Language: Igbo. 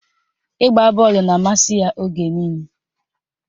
Ịgba bọọlụ na-amasị ya oge niile